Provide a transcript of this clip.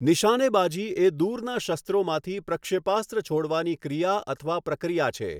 નિશાનેબાજી એ દૂરના શસ્ત્રોમાંથી પ્રક્ષેપાસ્ત્ર છોડવાની ક્રિયા અથવા પ્રક્રિયા છે.